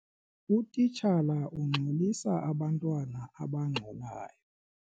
Utitshala ungxolisa abantwana abangxolayo.